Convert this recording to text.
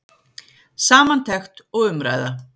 Samantekt og umræða